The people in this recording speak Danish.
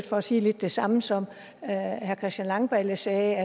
for at sige lidt det samme som herre christian langballe sagde